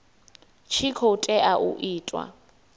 tshi khou tea u itiwa